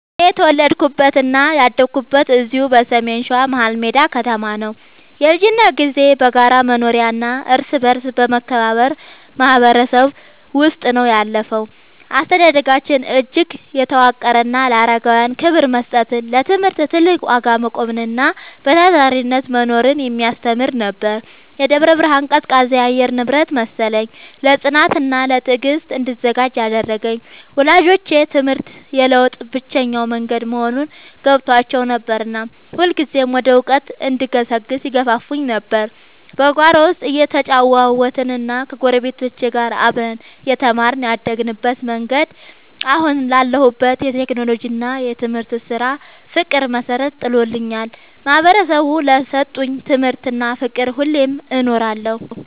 እኔ የተወለድኩትና ያደግኩት እዚሁ በሰሜን ሸዋ፣ መሀልሜዳ ከተማ ነው። የልጅነት ጊዜዬ በጋራ መኖሪያና እርስ በርስ በመከባበር ማህበረሰብ ውስጥ ነው ያለፈው። አስተዳደጋችን እጅግ የተዋቀረና ለአረጋውያን ክብር መስጠትን፣ ለትምህርት ትልቅ ዋጋ መቆምንና በታታሪነት መኖርን የሚያስተምር ነበር። የደብረ ብርሃን ቀዝቃዛ የአየር ንብረት መሰለኝ፣ ለጽናትና ለትዕግስት እንድዘጋጅ ያደረገኝ። ወላጆቼ ትምህርት የለውጥ ብቸኛው መንገድ መሆኑን ገብቷቸው ነበርና ሁልጊዜም ወደ እውቀት እንድገሰግስ ይገፋፉኝ ነበር። በጓሮ ውስጥ እየተጫወትንና ከጎረቤቶች ጋር አብረን እየተማርን ያደግንበት መንገድ፣ አሁን ላለሁበት የቴክኖሎጂና የትምህርት ስራ ፍቅር መሰረት ጥሎልኛል። ማህበረሰቡ ለሰጠኝ ትምህርትና ፍቅር ሁሌም እኖራለሁ።